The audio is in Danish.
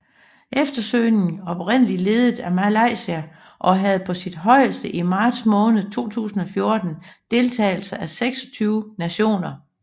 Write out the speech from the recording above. Eftersøgningen oprindeligt ledet af Malaysia og havde på sit højeste i marts måned 2014 deltagelse af 26 nationer